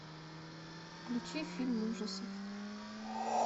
включи фильм ужасов